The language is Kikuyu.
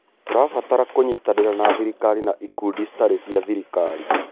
Tũrabatara kũnyitanĩra na thirikari na ikundi citarĩ cia gĩthirikari.